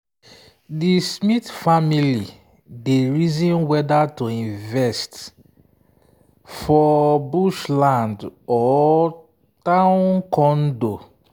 di smith family dey reason whether to invest for bush land or town condo.